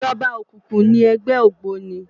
Ijòba ókúkú ni ègbè ógbóni